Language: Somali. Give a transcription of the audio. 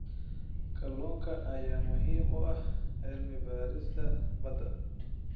Kalluunka ayaa muhiim u ah cilmi baarista badda.